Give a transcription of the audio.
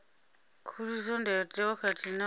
khuliso ndayotewa khathihi na u